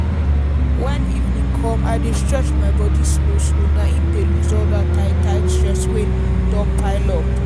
when evening come i dey stretch my body slow slow na im dey loose all dat tight-tight stress wey don pile up.